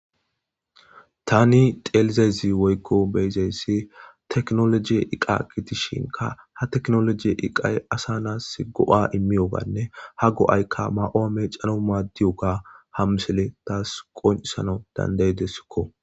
Tani xelizezi woykko beyzeyssi teknologi iqa gitishinka ha teknoloji iqay asa naas go7a immiyoganne ha go7aykka ma7oome calo maaddiyoga hamsele taas qonsana dandaydesikko.